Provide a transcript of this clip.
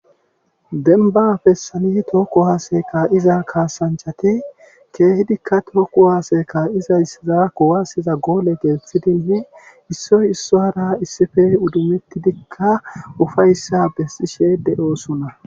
denba fessani tookku haaseka iza kaasanchati keehidikka tookku haaseka iza issiza kowasiza goole geeththidine issoy isso hara issife uddumettidikka ufayssa bessishe de7oosuna